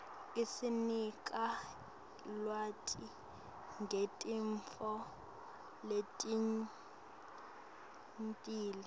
isinika lwati ngetintfo letengcile